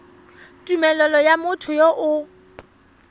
tumelelo ya motho yo o